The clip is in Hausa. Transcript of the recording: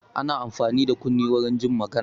Ana amfani da kunne warin jin magana.